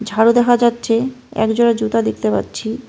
ঝাড়ু দেখা যাচ্ছে একজোড়া জুতা দেখতে পাচ্ছি।